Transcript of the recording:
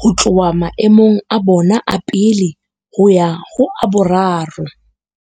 ho tloha maemong a bona a pele ho ya ho a boraro.